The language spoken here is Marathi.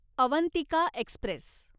अवंतिका एक्स्प्रेस